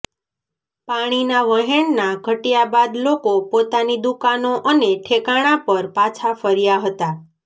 પાણીના વહેણના ઘટયા બાદ લોકો પોતાની દુકાનો અને ઠેકાણા પર પાછા ફર્યા હતા